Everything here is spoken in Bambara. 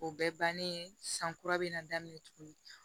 O bɛɛ bannen san kura be na daminɛ tuguni